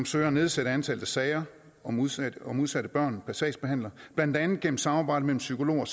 søger at nedsætte antallet af sager om udsatte om udsatte børn per sagsbehandler blandt andet gennem samarbejde mellem psykologer